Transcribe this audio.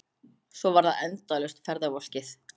Svo var það endalaust ferðavolkið.